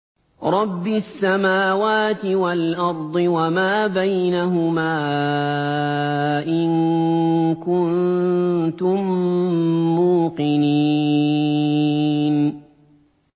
رَبِّ السَّمَاوَاتِ وَالْأَرْضِ وَمَا بَيْنَهُمَا ۖ إِن كُنتُم مُّوقِنِينَ